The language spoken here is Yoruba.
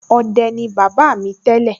ọdẹ ni bàbá mi tẹ́lẹ̀